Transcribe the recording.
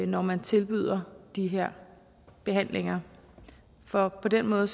når man tilbyder de her behandlinger for på den måde